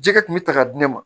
Jɛgɛ kun bɛ ta ka di ne ma